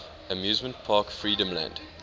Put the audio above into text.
amusement park freedomland